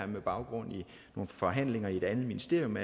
med baggrund i nogle forhandlinger i et andet ministerium